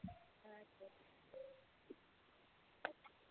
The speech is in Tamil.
ஹம் சரி